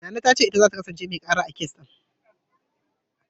Nana ta ce ita zata kasance mai ƙara, a kes ɗin.